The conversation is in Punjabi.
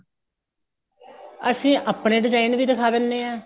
ਅਸੀਂ ਆਪਣੇ design ਵੀ ਦਿਖਾ ਦਿੰਨੇ ਆ